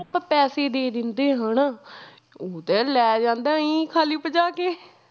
ਆਪਾਂ ਪੈਸੇ ਦੇ ਦਿੰਦੇ ਹਨਾ ਉਹ ਤਾਂ ਲੈ ਜਾਂਦਾ ਆਈਂ ਖਾਲੀ ਭਜਾ ਕੇ